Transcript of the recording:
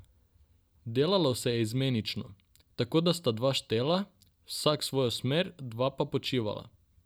Delalo se je izmenično, tako da sta dva štela, vsak svojo smer, dva pa počivala.